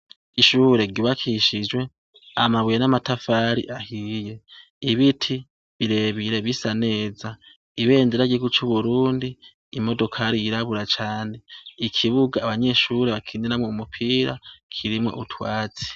Ishure ry'ubakishijwe amabuye n'amatafari ahiye, ibiti birebire bisaneza ibendera ry'igihugu c’ uburundi imodokari yirabura cane ikibuga abanyeshure bakiniramo umupira kirimo utwatsi.